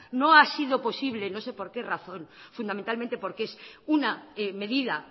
no ha sido posible no sé por qué razón fundamentalmente porque es una medida